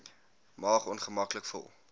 maag ongemaklik vol